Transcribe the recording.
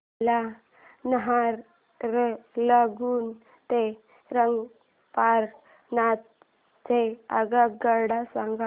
मला नाहरलागुन ते रंगपारा नॉर्थ च्या आगगाड्या सांगा